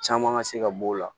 Caman ka se ka b'o la